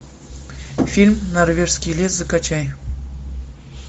фильм норвежский лес закачай